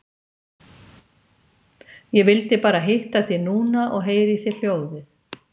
Ég vildi bara hitta þig núna og heyra í þér hljóðið.